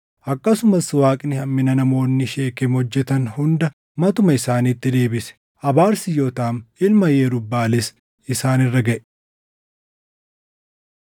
Akkasumas Waaqni hammina namoonni Sheekem hojjetan hunda matuma isaaniitti deebise. Abaarsi Yootaam ilma Yerub-Baʼaalis isaan irra gaʼe.